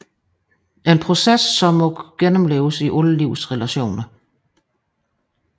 En proces som må gennemleves i alle livets relationer